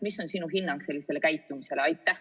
Mis on sinu hinnang sellisele käitumisele?